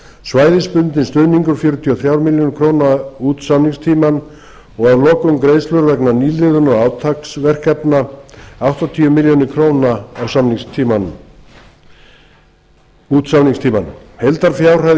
svæðisbundinn stuðningur fjörutíu og þrjár milljónir króna út samningstímann og að lokum greiðslur vegna nýliðunar og átaksverkefna áttatíu milljónir króna út samningstímann heildarfjárhæð